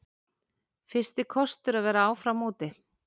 Fyrsti kostur að vera áfram úti